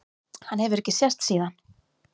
Hann hefur ekki sést síðan.